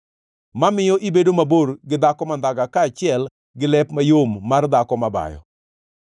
mamiyo ibedo mabor gi dhako mandhaga kaachiel gi lep mayom mar dhako mabayo.